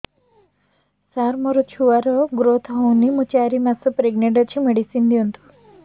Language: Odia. ସାର ମୋର ଛୁଆ ର ଗ୍ରୋଥ ହଉନି ମୁ ଚାରି ମାସ ପ୍ରେଗନାଂଟ ଅଛି ମେଡିସିନ ଦିଅନ୍ତୁ